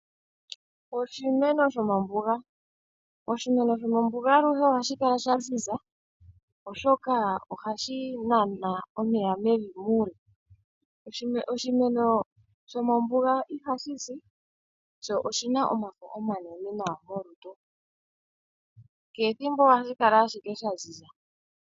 Oshimeno shomombuga Oshimeno shomombuga aluhe ohashi kala sha ziza oshoka ohashi nana omeya mevi muule. Oshimeno shomombuga ihashi si, sho oshina omafo omanene nawa gokehe thimbo ohashi kala ashike sha ziza.